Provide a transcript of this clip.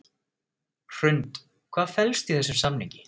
Hrund: Hvað felst í þessum samningi?